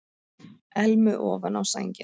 Elmu ofan á sænginni.